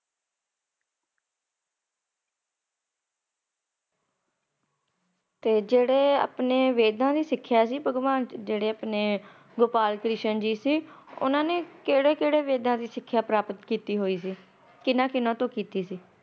ਤੇ ਜੇੜੇ ਆਪਣੇ ਵੇਦਾਂ ਚ ਸਿਖਿਆ ਸੀ ਭਗਵਾਨ ਜੇੜੇ ਆਪਣੇ ਗੋਪਾਲ ਕ੍ਰਿਸ਼ਨ ਜੀ ਸੀ ਉੰਨਾ ਨੇ ਕੇੜੇ-ਕੇੜੇ ਵੇਦਾ ਚ ਸਿਖਿਆ ਪ੍ਰਾਪਤ ਕਿੱਤੀ ਹੋਯੀ ਸੀ, ਕਿੰਨਾ-ਕਿੰਨਾ ਤੋਂ ਕਿੱਤੀ ਸੀ ।